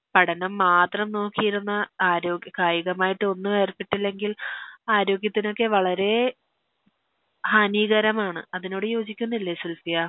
പഠനം മാത്രം നോക്കിയിരുന്ന ആരോഗ്യ കായികമായിട്ടൊന്നും ഏർപ്പെട്ടില്ലെങ്കിൽ ആരോഗ്യത്തിനൊക്കെ വളരെ ഹാനീകരമാണ് അതിനോട് യോജിക്കുന്നില്ലെ സുൽഫിയാ